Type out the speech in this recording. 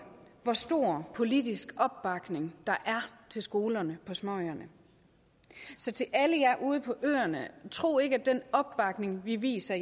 hvor stor politisk opbakning der er til skolerne på småøerne så til alle jer ude på øerne tro ikke at den opbakning vi viser